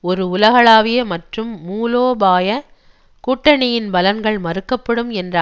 ஒரு உலகளாவிய மற்றும் மூலோபாய கூட்டணியின் பலன்கள் மறுக்கப்படும் என்ற